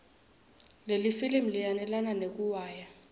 lelifilimu linayelana nekuiwaya